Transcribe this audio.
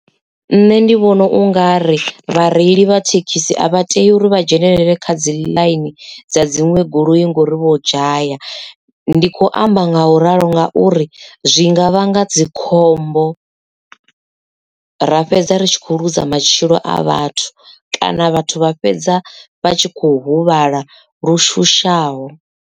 Nṋe ndi vhona u nga ri vhareili vha thekhisi a vha tei uri vha dzhenelele kha dzi ḽaini dza dziṅwe goloi ngori vho dzhaya ndi khou amba nga u ralo ngauri zwinga vhanga dzikhombo ra fhedza ri kho luza matshilo a vhathu kana vhathu vha fhedza vha tshi kho huvhala lushushaho.